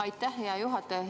Aitäh, hea juhataja!